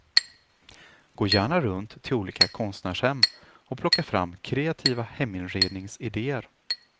Gå gärna runt till olika konstnärshem och plocka fram kreativa heminredningsidéer.